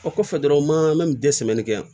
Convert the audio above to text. O kɔfɛ dɔrɔn u ma an mɛ kɛ yan